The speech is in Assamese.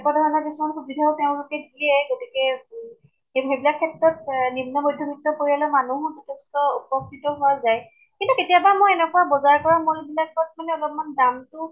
এনেকুৱা ধৰণৰ কিছুমান সুবিধাও তেওঁলোকে দিয়ে, গতিকে উ কিন্তু এইবিলাক ক্ষেত্ৰত নিম্ন মধ্য়বৃত্ত পৰিয়ালৰ মানুহো যথেষ্ট উপকৃত হোৱা যায় । কিন্তু কেতিয়াবা মই এনেকুৱা বজাৰ কৰা mall এইবিলাকত মানে অলপমান দামতো